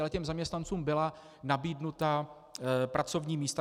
Ale těm zaměstnancům byla nabídnuta pracovní místa.